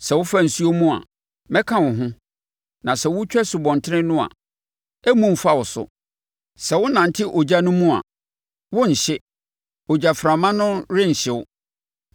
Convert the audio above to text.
Sɛ wofa nsuo mu a, mɛka wo ho; na sɛ wotwa nsubɔntene no a, ɛremmu mfa wo so. Sɛ wonante ogya no mu a, worenhye; ogyaframa no renhye wo.